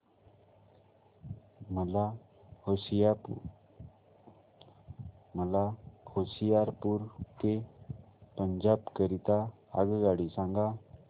मला होशियारपुर ते पंजाब करीता आगगाडी सांगा